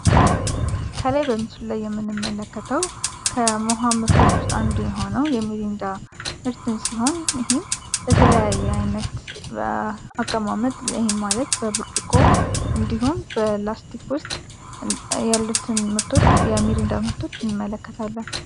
ከላይ በምሱ ላይ የምንምመለከተው ከውሃ ምርቶች ውስጥ አንዱ የሆነው የሚሪንዳ ምርትን ሲሆን ይህም በተለያዬ የአይነት በአቀማመጥ ይህም ማለት በብርድቆ እንዲሁም በፕላስቲክ ውስጥ ያሉትን የሚሪንዳ ምርቶች እንመለከታለን።